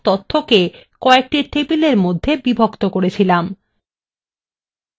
আমরা সব তথ্যকে কয়েকটি টেবিলএর মধ্যে বিভক্ত করেছিলাম